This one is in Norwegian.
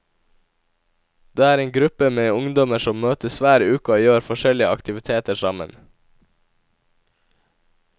Det er en gruppe med ungdommer som møtes hver uke og gjør forskjellige aktiviteter sammen.